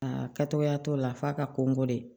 Aa kɛtogoya t'o la f'a ka ko n kɔ dɛ